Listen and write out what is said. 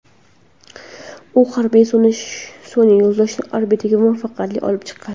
U harbiy sun’iy yo‘ldoshni orbitaga muvaffaqiyatli olib chiqqan.